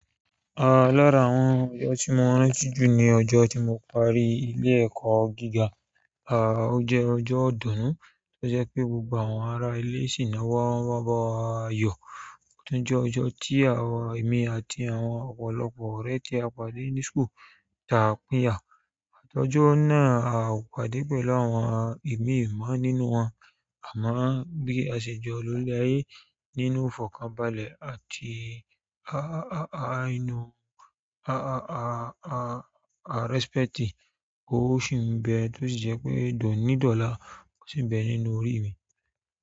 Àá, lára àwọn ọjọ́ tí mo rànti jù ni ọjọ́ tí mo parí ilé ẹ̀kọ́ gíga. À ó jẹ́ ọjọ́ ìdùnnú tó jẹ́ pé gbogbo àwọn ara ilé sì ná wa wá bá wa yọ. Ó tún jẹ́ ọjọ́ tí àwa ẹmí àti àwọn ọ̀pọ̀lọpọ̀ ọ̀rẹ́ tí a pàdé ní school taa pínyà. Àtọ́jọ́ náà a o pàdé pẹ̀lú àwọn imí mọ̀ nínú wọn, àmo bíi àsè jọ̀ lólè aye nínú ìfọ̀kànbalẹ̀ àti a a a a inú a a a a a a rẹ́sípẹ́ẹ̀tì kó sì ń bẹ tó sì jẹ́ pé dọ̀nídọ̀la kò sì ń bẹ nínú orí mi.